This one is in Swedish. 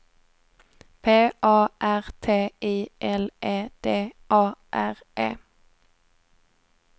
P A R T I L E D A R E